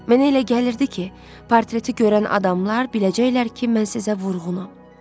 Mənə elə gəlirdi ki, portreti görən adamlar biləcəklər ki, mən sizə vurğunam.